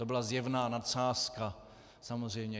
To byla zjevná nadsázka, samozřejmě.